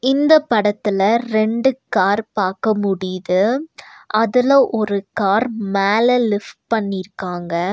இந்த படத்துல ரெண்டு கார் பாக்க முடியிது அதுல ஒரு கார் மேல லிஃப்ட் பண்ணிருக்காங்க.